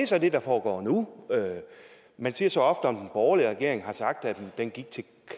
så det der foregår nu man siger så ofte om den borgerlige regering at den gik til